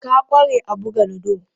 Ka ƙware a buga ludo?